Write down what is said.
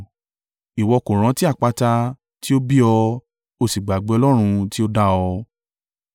Ìwọ kò rántí àpáta, tí ó bí ọ; o sì gbàgbé Ọlọ́run tí ó dá ọ.